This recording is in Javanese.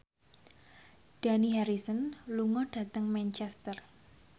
Dani Harrison lunga dhateng Manchester